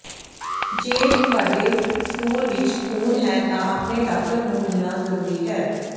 ਜੇ ਤੁਹਾਡੇ ਸਟੂਲ ਵਿਚ ਖੂਨ ਹੈ ਤਾਂ ਆਪਣੇ ਡਾਕਟਰ ਨੂੰ ਮਿਲਣਾ ਜ਼ਰੂਰੀ ਹੈ